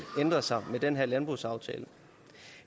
ændre sig med den her landbrugsaftale